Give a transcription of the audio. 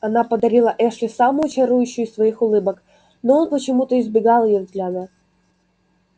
она подарила эшли самую чарующую из своих улыбок но он почему-то избегал её взгляда